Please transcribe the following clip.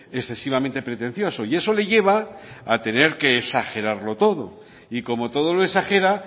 excesivamente pretencioso y eso le lleva a tener que exagerarlo todo y como todo lo exagera